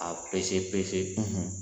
A